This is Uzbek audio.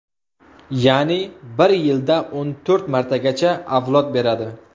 Ya’ni bir yilda o‘n to‘rt martagacha avlod beradi.